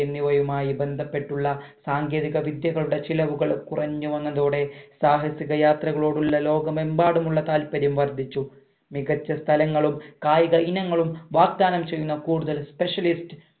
എന്നിവയുമായി ബന്ധപ്പെട്ടുള്ള സാങ്കേതിക വിദ്യകളുടെ ചിലവുകൾ കുറഞ്ഞു വന്നതോടെ സാഹസിക യാത്രകളോടുള്ള ലോകമെമ്പാടുമുള്ള താത്പര്യം വർധിച്ചു മികച്ച സ്ഥലങ്ങളും കായിക ഇനങ്ങളും വാഗ്‌ദാനം ചെയ്യുന്ന കൂടുതൽ specialist